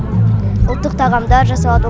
ұлттық тағамдар жасалады